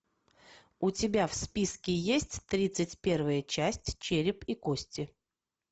у тебя в списке есть тридцать первая часть череп и кости